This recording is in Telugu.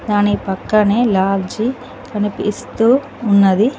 దాని పక్కనే లాజి కనిపిస్తూ ఉన్నది.